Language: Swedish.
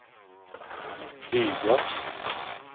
flyga